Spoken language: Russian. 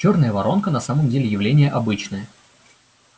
чёрная воронка на самом деле явление обычное